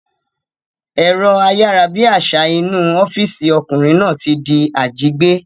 Ẹ̀rọ ayárabíàṣá inú ọ́físì ọkùnrin náà ti di àjígbé